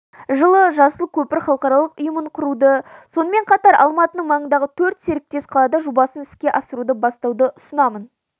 жылы жасыл көпір халықаралық ұйымын құруды сонымен қатар алматының маңындағы төрт серіктес қалада жобасын іске асыруды бастауды ұсынамын